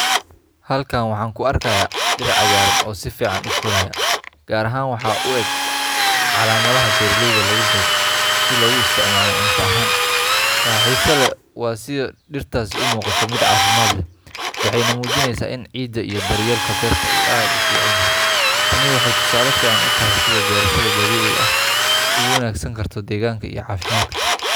Halkan waxaan ku arkayaa dhir cagaaran oo si fiican u koraya, gaar ahaan waxa u eg caleemaha beeraleyda lagu beero si loogu isticmaalo cunto ahaan. Waxa xiiso leh waa sida dhirtaasi u muuqato mid caafimaad leh, waxayna muujinaysaa in ciidda iyo daryeelka beerta uu aad u fiican yahay. Tani waxay tusaale fiican u tahay sida beerashada dabiiciga ah ay ugu wanaagsanaan karto deegaanka iyo caafimaadka.